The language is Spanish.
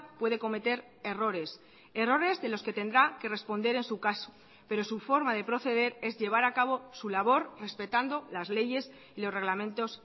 puede cometer errores errores de los que tendrá que responder en su caso pero su forma de proceder es llevar acabo su labor respetando las leyes y los reglamentos